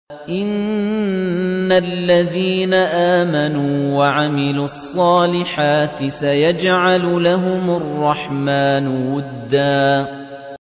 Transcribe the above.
إِنَّ الَّذِينَ آمَنُوا وَعَمِلُوا الصَّالِحَاتِ سَيَجْعَلُ لَهُمُ الرَّحْمَٰنُ وُدًّا